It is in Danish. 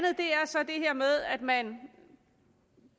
så det her med at man